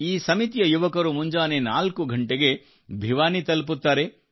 ಈ ಸಮಿತಿಯ ಯುವಕರು ಮುಂಜಾನೆ 4 ಗಂಟೆಗೆ ಭಿವಾನಿ ತಲುಪುತ್ತಾರೆ